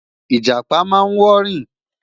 ijapa má n wọ rin